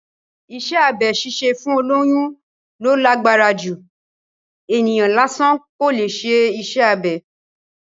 Iṣẹ́ abẹ ṣíṣe fún olóyún ló lágbára jù, ènìyàn lásán kò leè ṣe iṣẹ́ abẹ